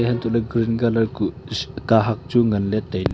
untoley green colour kuh kahak chu ngan ley te--